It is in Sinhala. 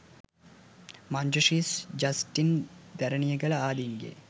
මංජු ශ්‍රී ජස්ටින් දැරණියගල, ආදීන්ගේ